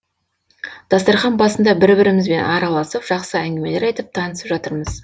дастархан басында бір бірімізбен араласып жақсы әңгімелер айтып танысып жатырмыз